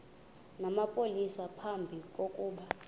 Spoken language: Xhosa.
namapolisa phambi kokuba